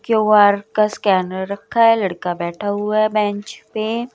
QR का scanner रखा है लड़का बैठा हुआ है बेंच पे--